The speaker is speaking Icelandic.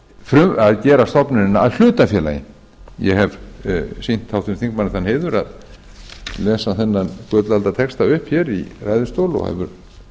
en að gera stofnunina að hlutafélagi ég hef sýnt háttvirtum þingmanni þann heiður að lesa þennan gullaldartexta upp hér í ræðustól og það